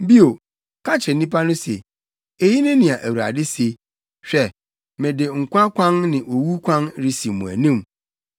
“Bio, ka kyerɛ nnipa no se, ‘Eyi ne nea Awurade se: Hwɛ mede nkwa kwan ne owu kwan resi mo anim.